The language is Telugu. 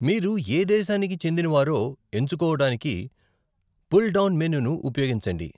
మీరు ఏ దేశానికి చెందినవారో ఎంచుకోవడానికి పుల్ డౌన్ మెనూను ఉపయోగించండి.